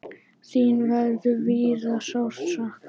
Þín verður víða sárt saknað.